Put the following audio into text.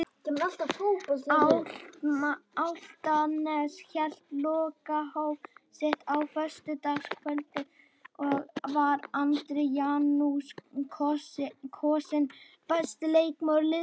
Álftanes hélt lokahóf sitt á föstudagskvöldið og var Andri Janusson kosinn besti leikmaður liðsins.